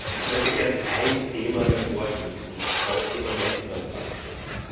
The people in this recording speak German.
Ich möchte gerne ein Thema hervorheben, und zwar das Thema Netzneutralität.